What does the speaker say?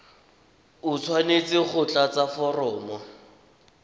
o tshwanetse go tlatsa foromo